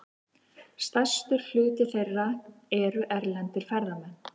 Stærstur hluti þeirra eru erlendir ferðamenn.